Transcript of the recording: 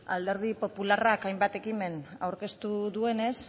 alderdi popularrak hainbat ekimen aurkeztu duenez